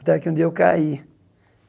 Até que um dia eu caí.